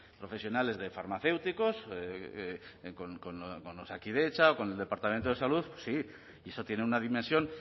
profesionales de farmacéuticos con osakidetza con el departamento de salud sí y eso tiene una dimensión